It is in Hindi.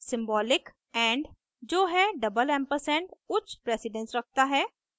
सिंबॉलिक and जो है &&double ampersand उच्च प्रेसिडन्स रखता है